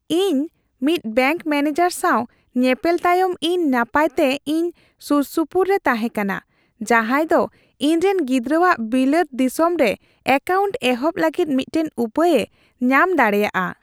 ᱤᱧ ᱢᱤᱫ bank manager ᱥᱟᱶ ᱧᱮᱯᱮᱞ ᱛᱟᱭᱚᱢ ᱤᱧ ᱱᱟᱯᱟᱭᱛᱮ ᱤᱧ ᱥᱩᱨᱥᱩᱯᱩᱨ ᱮ ᱛᱟᱦᱮᱸ ᱠᱟᱱᱟ, ᱡᱟᱦᱟᱸᱭ ᱫᱚ ᱤᱧᱨᱮᱱ ᱜᱤᱫᱽᱨᱟᱹᱣᱟᱜ ᱵᱤᱞᱟᱹᱛ ᱫᱤᱥᱚᱢ ᱨᱮ ᱮᱠᱟᱣᱱᱴ ᱮᱦᱚᱵ ᱞᱟᱹᱜᱤᱫ ᱢᱤᱫᱴᱟᱝ ᱩᱯᱟᱹᱭ ᱮ ᱧᱟᱢ ᱫᱟᱲᱮᱭᱟᱜᱼᱟ ᱾